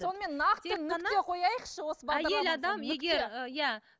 сонымен нақты нүкте қояйықшы